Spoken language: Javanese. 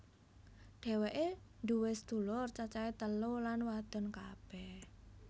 Dhéwéké nduwé sedulur cacahé telu lan wadon kabeh